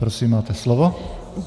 Prosím, máte slovo.